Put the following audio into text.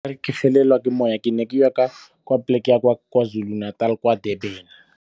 Ke felelwa ke moya ke ne ke ya kwa plek ya Kwa Zulu Natal, kwa Durban.